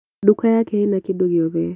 Nduka yake ĩna kĩndũ gĩothe